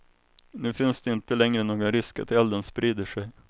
Nu finns det inte längre någon risk att elden sprider sig.